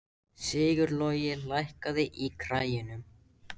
Sigurlogi, lækkaðu í græjunum.